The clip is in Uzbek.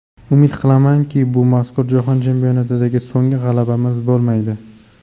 Umid qilamanki, bu mazkur Jahon chempionatidagi so‘nggi g‘alabamiz bo‘lmaydi.